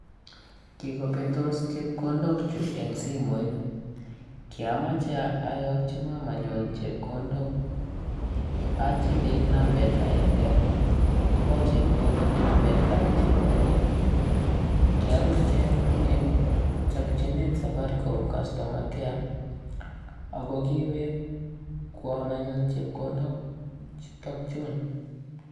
Kikobetos chepkondokchuk eng' simooit. Kiamchei ayakkyi mamanyun chepkondok achilil nambet agenge kopa chepkondok nambetab chito age. Kiapirji anyun eng' chakjinet safaricom customer care ako kiwekwon anyun chepkondok chutokjun.